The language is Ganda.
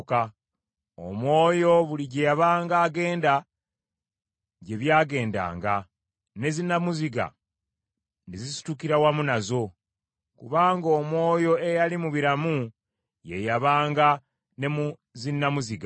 Omwoyo buli gye yabanga agenda, gye byagendanga, ne zinnamuziga ne zisitukira wamu nazo, kubanga omwoyo eyali mu biramu ye yabanga ne mu zinnamuziga.